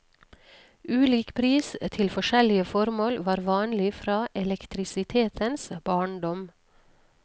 Ulik pris til forskjellige formål var vanlig fra elektrisitetens barndom.